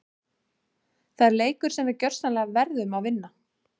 Það er leikur sem við gjörsamlega verðum að vinna!